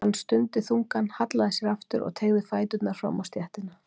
Hann stundi þungan, hallaði sér aftur og teygði fæturna fram á stéttina.